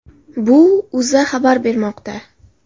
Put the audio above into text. Bu O‘zA xabar bermoqda .